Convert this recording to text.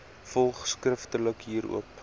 volg skriftelik hierop